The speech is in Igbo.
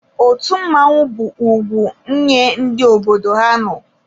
Otu mmọnwụ bụ ugwu nye ndị obodo ha nọ.